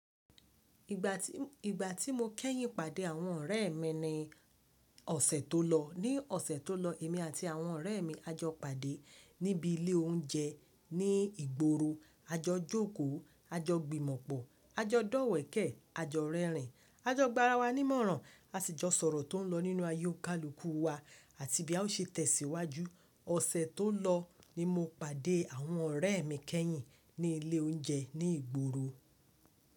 Ìgbà tí, ìgbà tí mo kẹ́yìn pàdé àwọn ọ̀rẹ́ mi ni ọ̀sẹ̀ tó lọ. Ni ọ̀sẹ̀ tó lọ, èmi àti àwọn ọ̀rẹ́ mi a jọ pàdé níbi ilé oúnjẹ ní ìgboro. A jọ jókòó, a jọ gbìmọ̀pọ̀, a jọ dọ̀wẹ̀kẹ̀, a jọ rẹ́rìn, a jọ gbarawà nímọ̀ràn, a sì jọ sọ̀rọ̀ tó ń lọ nínú ayé òkàlùkù wa àti bí a ó ṣe tẹ̀síwájú. Ọ̀sẹ̀ tó lọ ni mo pàdé àwọn ọ̀rẹ́ mi kẹ́yìn ní ilé oúnjẹ ní ìgboro.